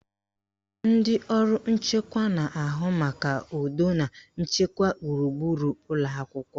Ndị ọrụ nchekwa na-ahụ maka udo na nchekwa gburugburu ụlọakwụkwọ